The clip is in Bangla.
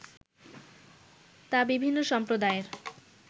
তা বিভিন্ন সম্প্রদায়ের